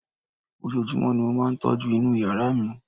ojojúmọ́ ni mo máà ń tọ́jú inú yàrá mi